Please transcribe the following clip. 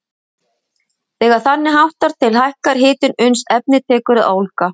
Þegar þannig háttar til hækkar hitinn uns efnið tekur að ólga.